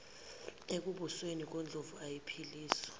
ekubusweni ngondlovu kayiphikiswa